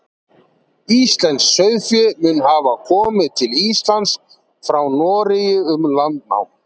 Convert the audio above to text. íslenskt sauðfé mun hafa komið til íslands frá noregi um landnám